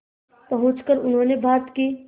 पहुंचकर उन्होंने भारत की